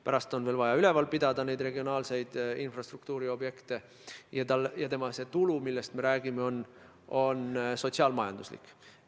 Pärast on veel vaja neid regionaalseid infrastruktuuriobjekte üleval pidada ja see tulu, millest me räägime, on sotsiaal-majanduslik.